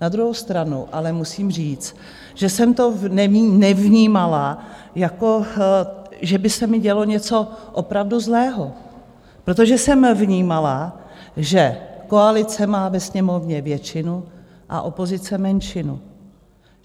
Na druhou stranu ale musím říct, že jsem to nevnímala, jako že by se mi dělo něco opravdu zlého, protože jsem vnímala, že koalice má ve Sněmovně většinu a opozice menšinu.